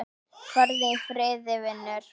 Farðu í friði, vinur.